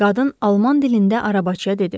Qadın alman dilində arabacıya dedi.